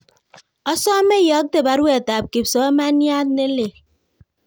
Osome iyokte baruet ab kipsomayat nelelach